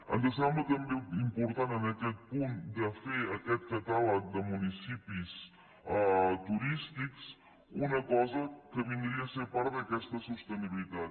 ens sembla també important en aquest punt de fer aquest catàleg de municipis turístics una cosa que vindria a ser part d’aquesta sostenibilitat